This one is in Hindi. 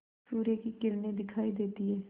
सूर्य की किरणें दिखाई देती हैं